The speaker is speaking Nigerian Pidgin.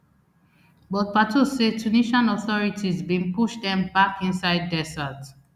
but pato say tunisian authorities bin push dem back inside desert